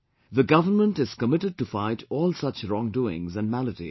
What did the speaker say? The government is committed to fight all such wrongdoings and maladies